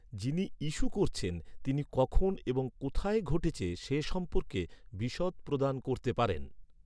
যিনি ইস্যু করছেন, তিনি কখন এবং কোথায় ঘটেছে সে সম্পর্কে, বিশদ প্রদান করতে পারেন।